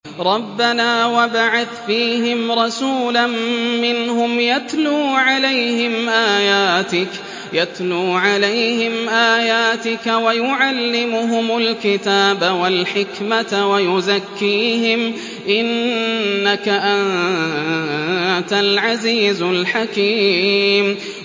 رَبَّنَا وَابْعَثْ فِيهِمْ رَسُولًا مِّنْهُمْ يَتْلُو عَلَيْهِمْ آيَاتِكَ وَيُعَلِّمُهُمُ الْكِتَابَ وَالْحِكْمَةَ وَيُزَكِّيهِمْ ۚ إِنَّكَ أَنتَ الْعَزِيزُ الْحَكِيمُ